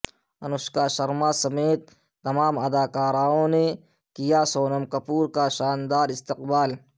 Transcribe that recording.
انوشکا شرما سمیت تمام اداکاراوں نے کیا سونم کپور کا شاندار استقبال